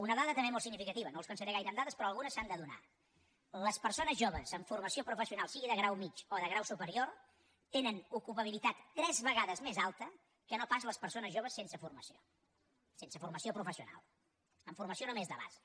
una dada també molt significativa no els cansaré gaire amb dades però algunes s’han de donar les persones joves amb formació professional sigui de grau mitjà o de grau superior tenen una ocupabilitat tres vegades més alta que no pas les persones joves sense formació professional amb formació només de base